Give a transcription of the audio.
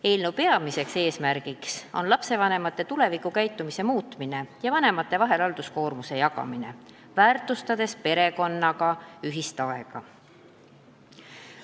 Eelnõu peamine eesmärk on muuta lastevanemate tulevikukäitumist ja jagada halduskoormust vanemate vahel, väärtustades perekonna ühiselt veedetud aega.